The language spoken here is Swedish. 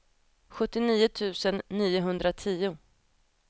sjuttionio tusen niohundratio